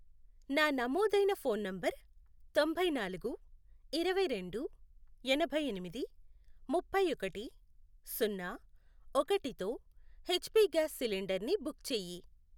నా నమోదైన phone number తొంభై నాలుగు, ఇరవై రెండు, ఎనభై ఎనిమిది, ముప్పై ఒకటి, సున్నా, ఒకటి, తో ఎచ్ పి గ్యాస్ సిలిండర్ని బుక్ చేయి.